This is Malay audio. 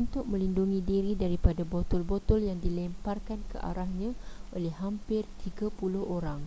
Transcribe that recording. untuk melindungi diri daripada botol-botol yang dilemparkan ke arahnya oleh hampir tiga puluh orang